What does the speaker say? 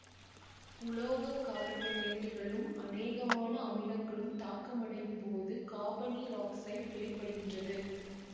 உலோக கார்பனேட்டுகளும் அனேகமான அமிலங்களும் தாக்கமடையும் போது காபனீரொக்சைட்டு வெளிப்படுகின்றது